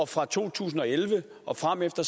fra to tusind og elleve og fremefter